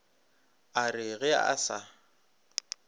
a re ge a sa